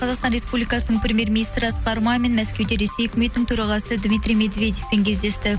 қазақстан республикасының премьер министрі асқар мамин мәскеуде ресей өкіметінің төрағасы дмитрий медведевпен кездесті